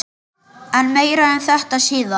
En meira um þetta síðar.